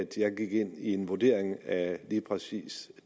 jeg gik ind i en vurdering af lige præcis